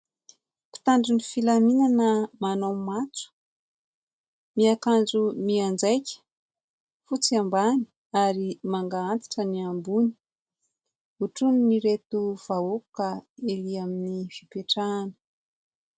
Mpitandro filaminana manao matso, miakanjo, mianjaika fotsy ambany ary manga antitra ny ambony ; hotronin'reto vahoaka erỳ amin'ny fipetrahana.